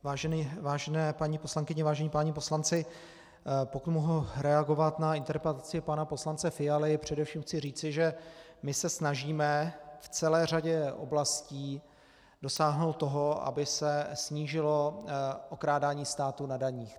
Vážené paní poslankyně, vážení páni poslanci, pokud mohu reagovat na interpelaci pana poslance Fialy, především chci říci, že my se snažíme v celé řadě oblastí dosáhnout toho, aby se snížilo okrádání státu na daních.